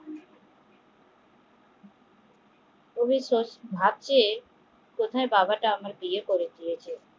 উনি ভাবছে কোথায় বাবাটা আমাকে বিয়ে করে দিয়েছে